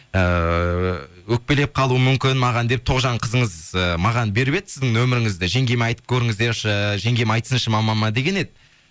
ыыы өкпелеп қалуы мүмкін маған деп тоғжан қызыңыз ы маған беріп еді сіздің нөміріңізді жеңгеме айтып көріңіздерші жеңгем айтсыншы мамама деген еді